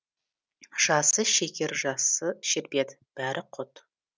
жасы шекер жасы шербет бәрі құт